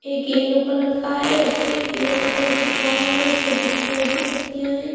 एक yellow colour का है उसपे की फ्लावर है उसपे ग्रीन कलर की पत्तियां है।